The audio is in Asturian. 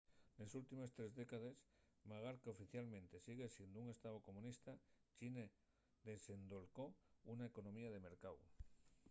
nes últimes tres décades magar qu’oficialmente sigue siendo un estáu comunista china desendolcó una economía de mercáu